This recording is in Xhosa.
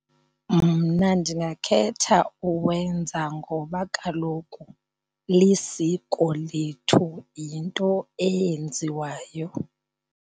Mna ndingakhetha uwenza ngoba kaloku lisiko lethu, yinto eyenziwayo.